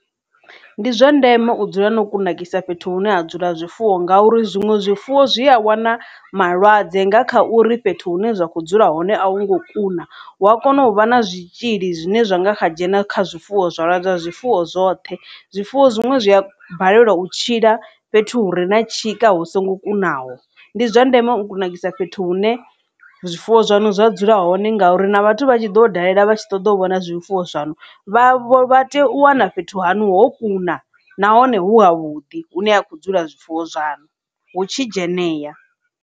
Ndi zwa ndeme u dzula no kunakisa fhethu hune ha dzula zwifuwo nga uri zwiṅwe zwifuwo zwi a wana malwadze nga kha uri fhethu hune zwa kho dzula hone a hu ngo kuna hu a kona u vha na zwitzhili zwine zwa nga kha dzhena kha zwifuwo zwa lwadza zwifuwo zwoṱhe. Zwifuwo zwiṅwe zwi a balelwa u tshila fhethu hu re na tshika hu songo kunaho ndi zwa ndeme u kunakisa fhethu hune zwifuwo zwanu zwa dzula hone ngauri na vhathu vha tshi ḓo dalela vha tshi ṱoḓa u vhona zwifuwo zwaṋu vha tea u wana fhethu hanu ho kuna nahone hu ha vhuḓi hune ha khou dzula zwifuwo zwaṋu hu tshi dzhenea.